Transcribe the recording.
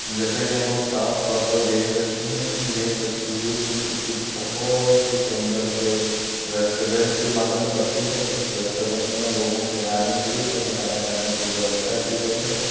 जैसा की हम लोग साफ तौर पर देख सकते है की ये तस्वीर भी किसी बहुत ही सुन्दर से रेस्टोरेन्ट की मालूम पड़ती है। जिस रेस्टोरेन्ट मे लोगों के आने के लिए तथा खाना खाने की व्यवस्था की गई है।